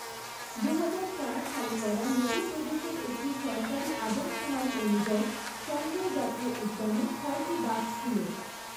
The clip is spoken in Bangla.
দুহাজার চার সালে করা মধ্যপ্রদেশের একটি সরকারী আদমশুমারি অনুযায়ী, সঞ্জয় জাতীয় উদ্যানে ছয়টি বাঘ ছিল।